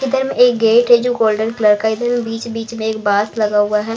इधर एक गेट है जो गोल्डन कलर का इधर बीच-बीच में एक बास लगा हुआ है